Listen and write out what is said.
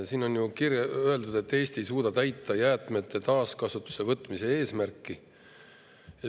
Siin on öeldud, et Eesti ei suuda täita jäätmete taaskasutusse võtmise eesmärki.